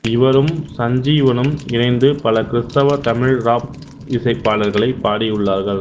இவரும் சஞ்சீவனும் இணைந்து பல கிறிஸ்தவ தமிழ் ராப் இசைப் பாடல்களைப் பாடியுள்ளார்கள்